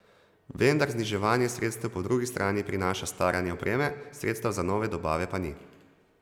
Vendar zniževanje sredstev po drugi strani prinaša staranje opreme, sredstev za nove dobave pa ni.